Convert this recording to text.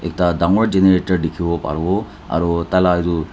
ekta dangor generator dikhiwo parewo aro taila edu--